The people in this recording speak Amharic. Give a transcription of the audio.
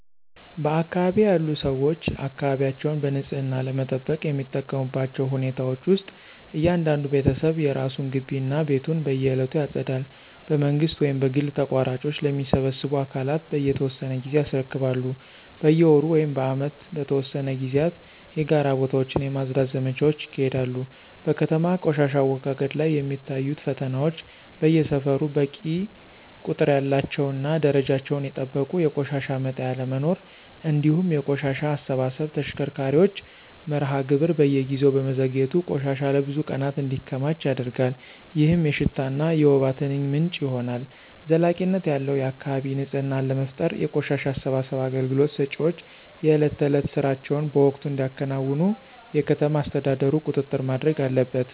በአካባቢዬ ያሉ ሰዎች አካባቢያቸውን በንጽህና ለመጠበቅ የሚጠቀሙባቸው ሁኔታዎች ውስጥ እያንዳንዱ ቤተሰብ የራሱን ግቢ እና ቤቱን በየዕለቱ ያጸዳል። በመንግሥት ወይም በግል ተቋራጮች ለሚሰበስቡ አካላት በየተወሰነ ጊዜ ያስረክባሉ። በየወሩ ወይም በዓመት በተወሰኑ ጊዜያት የጋራ ቦታዎችን የማፅዳት ዘመቻዎች ይካሄዳሉ። በከተማ ቆሻሻ አወጋገድ ላይ የሚታዩት ፈተናዎች በየሰፈሩ በቂ ቁጥር ያላቸውና ደረጃቸውን የጠበቁ የቆሻሻ መጣያ አለመኖር፤ እንዲሁም የቆሻሻ አሰባሰብ ተሽከርካሪዎች መርሃ ግብር በየጊዜው በመዘግየቱ ቆሻሻ ለብዙ ቀናት እንዲከማች ያደርጋል፣ ይህም የሽታና የወባ ትንኝ ምንጭ ይሆናል። ዘላቂነት ያለው የአካባቢ ንፅህና ለመፍጠር የቆሻሻ አሰባሰብ አገልግሎት ሰጪዎች የዕለት ተዕለት ሥራቸውን በወቅቱ እንዲያከናውኑ የከተማ አስተዳደሩ ቁጥጥር ማድረግ አለበት።